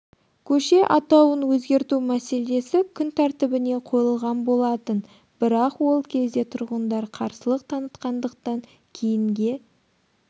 көше атауын өзгерту мәселесі күн тәртібіне қойылған болатын бірақ ол кезде тұрғындар қарсылық танытқандықтан кейінге